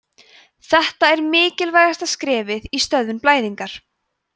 þetta er mikilvægasta skrefið í stöðvun blæðingar